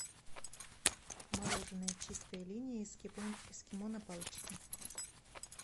мороженое чистая линия эскимо на палочке